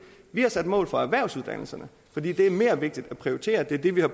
vi har sat mål for erhvervsuddannelserne for det er mere vigtigt at prioritere det er det vi har